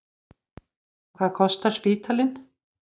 Hvað kostar spítalinn?